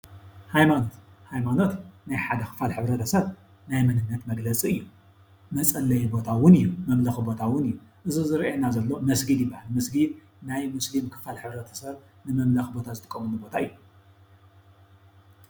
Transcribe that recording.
ሃይማኖት፡ ሃይማኖት ናይ ሓደ ክፋል ሕብረተሰብ ናይ መንነት መግለፂ እዩ፡፡ መፀለዪ ቦታ እውን እዩ፡፡ መምለኺ እውን እዩ፡፡ እዚ ዝርአየና ዘሎ መስጊድ ይባሃል፡፡ መስጊድ ናይ ሙስሊም ክፋል ሕብረተሰብ ንመምለኺ ዝጥቀምሉ ቦታ እዩ፡፡